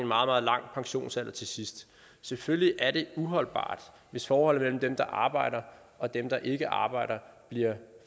meget langt pensionistliv til sidst selvfølgelig er det uholdbart hvis forholdet mellem dem der arbejder og dem der ikke arbejder bliver